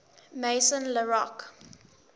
maison la roche